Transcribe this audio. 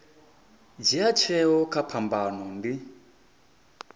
dzhia tsheo kha phambano ndi